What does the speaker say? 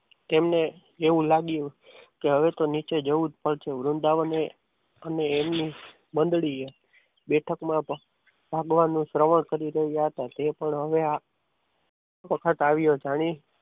તેમને એવું લાગ્યું કે હવે તો નીચે જવું જ પડશે વૃંદાવને અને એમની મંડળીએ બેઠકમાં ભાગવાનું સેવન કરી રહ્યા હતા તે પણ હવે એ વખત આવ્યો. જાણે